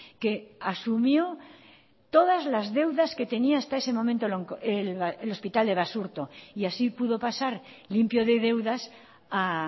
que asumió todas las deudas que tenía hasta ese momento el hospital de basurto y así pudo pasar limpio de deudas a